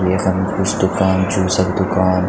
यखम कुछ दूकान जूस क दूकान।